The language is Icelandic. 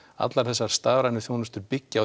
allar þessar stafrænu þjónustu byggja á